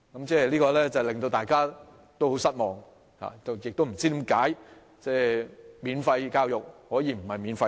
這說法令大家感到很失望，亦不知道為何免費教育可以不免費。